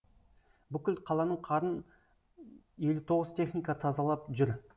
бүкіл қаланың қарын елу тоғыз техника тазалап жүр